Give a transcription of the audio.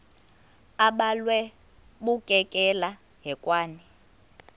abhalwe bukekela hekwane